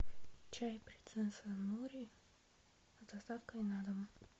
чай принцесса нури с доставкой на дом